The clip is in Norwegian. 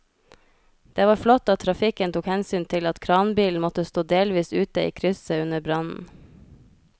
Det var flott at trafikken tok hensyn til at kranbilen måtte stå delvis ute i krysset under brannen.